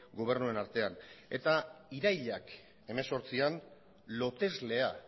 gobernuen artean eta irailak hemezortzian loteslea